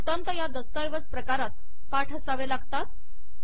वृत्तांत या दस्तऐवज प्रकारात पाठ असावे लागतात